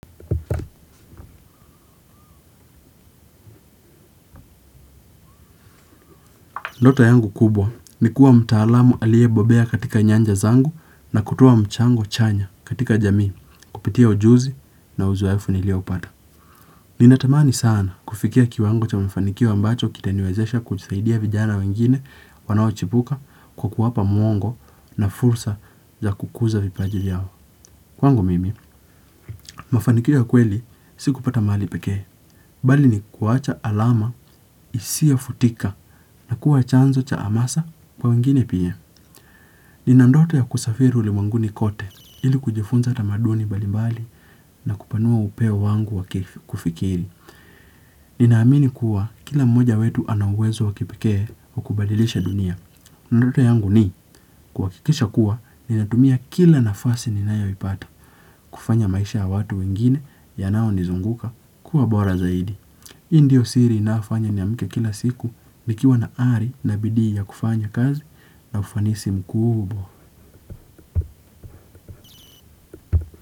Ndoto yangu kubwa ni kuwa mtaalamu aliye bobea katika nyanja zangu na kutoa mchango chanya katika jamii kupitia ujuzi na uzoefu nilioupata. Ninatamani sana kufikia kiwango cha mafanikio ambacho kitaniwezesha kujisaidia vijana wengine wanao chipuka kwa kuwapa mwongo na fursa za kukuza vipaji vyao. Kwangu mimi, mafanikio ya kweli sikupata mali pekee, bali ni kuwacha alama isiyofutika na kuwa chanzo cha hamasa kwa wengine pia. Nina ndoto ya kusafiri ulimwenguni kote ili kujifunza tamaduni mbalimbali na kupanua upeo wangu wa kufikiri. Ninaamini kuwa kila mmoja wetu ana uwezo wa kipekee wa kubadilisha dunia. Ndoto yangu ni kuhakikisha kuwa ninatumia kila nafasi ninayoipata. Kufanya maisha ya watu wengine yanayonizunguka kuwa bora zaidi. Hii ndiyo siri inayofanya niamke kila siku nikiwa na ari na bidii ya kufanya kazi na ufanisi mkubwa.